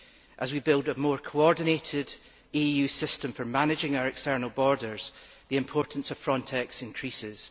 As we build a more coordinated EU system for managing our external borders, the importance of Frontex increases.